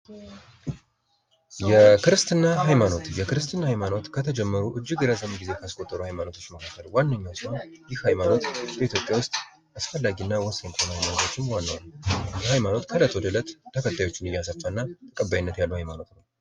የክርስትና ሃይማኖት የክርስትና ሃይማኖት ከተጀመሩ እጅግ ረጅም ጊዜ ካስቆጠሩ ሃይማኖቶች መካከል ዋነኛው ሲሆን ይህ ሃይማኖት ኢትዮጵያ ዉስጥ አስፈላጊ እና ወሳኝ ከሆኑ ነገሮችም ዋነኛው ነው:: ይህ ሃይማኖት ከእለት ወደ እለት ተከታዮቹን እያሰፋ እና ተቀባይነት ያለው ሃይማኖት ነው::